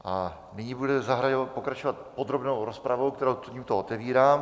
A nyní budeme pokračovat podrobnou rozpravou, kterou tímto otevírám.